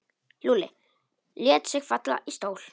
Lúlli lét sig falla í stól.